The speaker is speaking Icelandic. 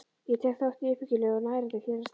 Ég tek þátt í uppbyggilegu og nærandi félagsstarfi.